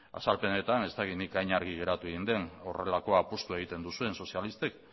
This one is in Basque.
azalpenetan ez dakit nik hain argi geratu egin den horrelako apustua egiten duzuen sozialistek